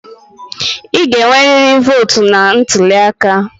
Ị ga-enwerịrị votu na ntuli aka!